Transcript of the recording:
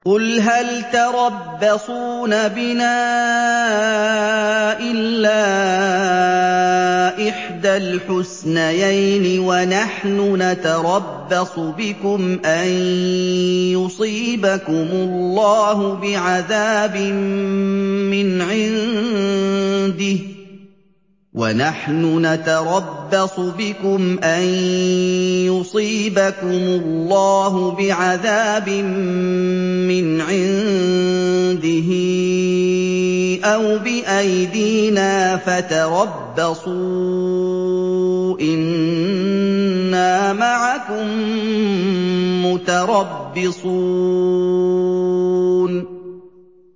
قُلْ هَلْ تَرَبَّصُونَ بِنَا إِلَّا إِحْدَى الْحُسْنَيَيْنِ ۖ وَنَحْنُ نَتَرَبَّصُ بِكُمْ أَن يُصِيبَكُمُ اللَّهُ بِعَذَابٍ مِّنْ عِندِهِ أَوْ بِأَيْدِينَا ۖ فَتَرَبَّصُوا إِنَّا مَعَكُم مُّتَرَبِّصُونَ